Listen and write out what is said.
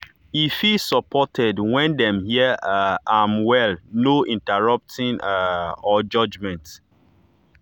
e feel supported when dem hear um am well no interrupting um or judgement